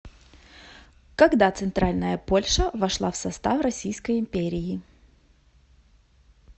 когда центральная польша вошла в состав российской империи